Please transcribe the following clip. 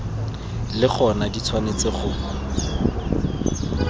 le gona di tshwanetse go